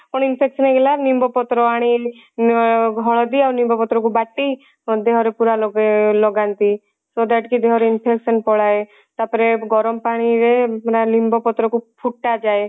ପୁଣି infection ହେଇଗଲା ନିମ୍ବ ପତ୍ର ଆଣି ହଳଦୀ ଆଉ ନିମ୍ବ ପତ୍ର କୁ ବାଟି ଦେହ ରେ ପୁରା ଲଗା ଲଗାନ୍ତି so that କି ଦେହ ରେ infection ପଳାଏ ତାପରେ ଗରମ ପାଣି ରେ ପୁରା ଲିମ୍ବ ପତ୍ର କୁ ଫୁଟା ଯାଏ